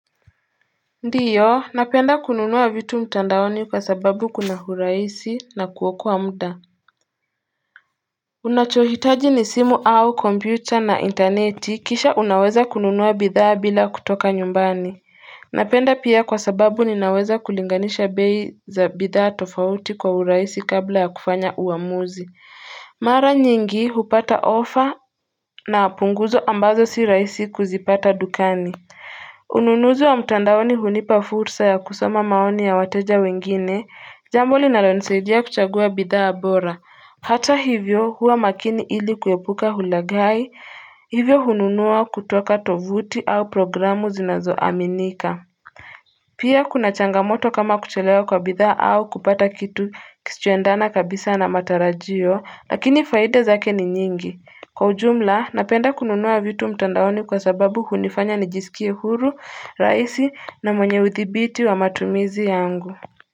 Ndio napenda kununuwa vitu mtandaoni kwa sababu kuna urahisi na kuokoaa mda Unachohitaji ni simu au kompyuta na interneti kisha unaweza kununuwa bidhaa bila kutoka nyumbani Napenda pia kwa sababu ninaweza kulinganisha bei za bidhaa tofauti kwa urahisi kabla ya kufanya uamuzi Mara nyingi hupata ofa na punguzo ambazo si rahisi kuzipata dukani Ununuzi wa mtandaoni hunipa fursa ya kusoma maoni ya wateja wengine, jambo linalonisaidia kuchagua bidhaa bora. Hata hivyo huwa makini ili kuepuka hulagai, hivyo hununua kutoka tovuti au programu zinazo aminika. Pia kuna changamoto kama kuchelewa kwa bidhaa au kupata kitu kisicho endana kabisa na matarajio, lakini faida zake ni nyingi. Kwa ujumla, napenda kununua vitu mtandaoni kwa sababu hunifanya nijisikie huru, rahisi na mwenye uthibiti wa matumizi yangu.